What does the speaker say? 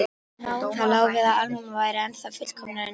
Það lá við að Alma væri ennþá fullkomnari en ég.